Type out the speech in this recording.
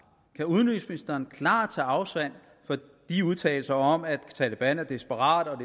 kan udenrigsministeren klart tage afstand fra de udtalelser om at taleban er desperate og at